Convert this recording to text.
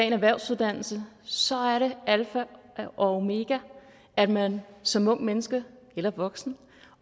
en erhvervsuddannelse så er det alfa og omega at man som ungt menneske eller voksen